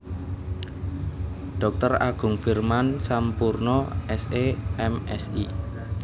Dr Agung Firman Sampurna S E M Si